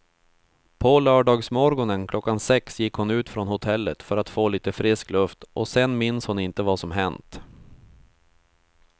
På lördagsmorgonen klockan sex gick hon ut från hotellet för att få lite frisk luft och sen minns hon inte vad som hänt.